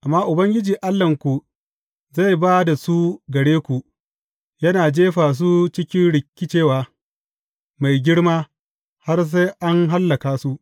Amma Ubangiji Allahnku zai ba da su gare ku, yana jefa su cikin rikicewa mai girma, har sai an hallaka su.